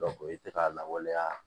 o ye tɛ ka lawaleya